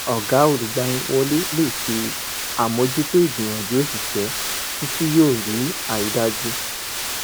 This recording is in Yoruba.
ọ̀gá olùgbaniwọlé lè ṣe àmójútó ìgbìyànjú òṣìṣẹ́ títí yóò rí àrídájú.